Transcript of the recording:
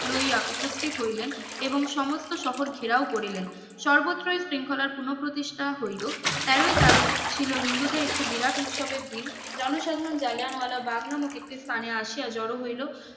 লইয়া উপস্থিতি হইলেন এবং সমস্থ শহর ঘেরাও করিলেন সর্বতই শৃঙ্খলার পূর্ণ প্রতিষ্ঠা হইলো তেরোই তারিখ ছিলো হিন্দুদের একটি বিরাট উৎসবের দিন জনসাধারন জালিয়ানওয়ালাবাগ নামক একটি স্থানে আসিয়া জোরো হইলো